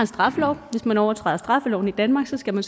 straffelov hvis man overtræder straffeloven i danmark skal man